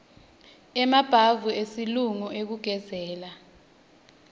emabhavu esilungu ekugezela